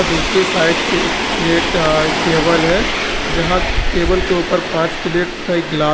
दूसरी साइड पे एक प्लेट अ एक टेबल है जहां टेबल के ऊपर पांच प्लेट तथा एक ग्लास --